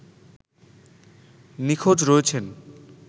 নিখোঁজ রয়েছেন